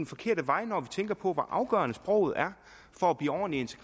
forkerte vej når vi tænker på hvor afgørende sproget er for at blive ordentligt